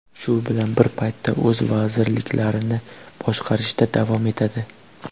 Shu bilan bir paytda o‘z vazirliklarini boshqarishda davom etadi.